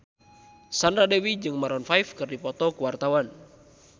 Sandra Dewi jeung Maroon 5 keur dipoto ku wartawan